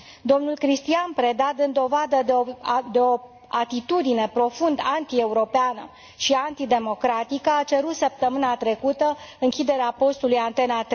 Domnul Cristian Preda, dând dovadă de o atitudine profund antieuropeană și antidemocratică, a cerut săptămâna trecută închiderea postului Antena